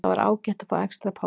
Það var ágætt að fá extra pásu.